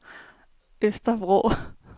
Øster Vrå